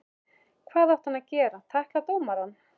Hvað átti hann að gera, tækla dómarann?